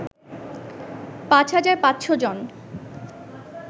৫৫০০ জন